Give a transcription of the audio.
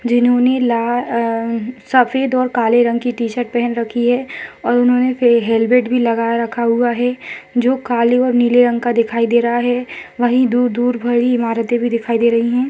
जिन्होंने ला सफेद और काले रंग की टी-शर्ट पहन रखी है और उन्होंने एक हेलमेट भी लगा रखा हुआ है जो काले और नीले रंग का दिखाई दे रहा है वहीं दूर दूर बड़ी इमारतें दिखाई दे रही हैं।